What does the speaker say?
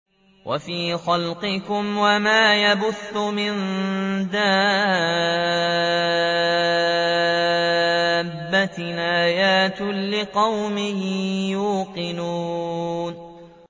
وَفِي خَلْقِكُمْ وَمَا يَبُثُّ مِن دَابَّةٍ آيَاتٌ لِّقَوْمٍ يُوقِنُونَ